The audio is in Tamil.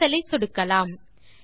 கேன்சல் இல் சொடுக்கலாம்